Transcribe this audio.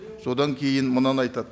содан кейін мынаны айтады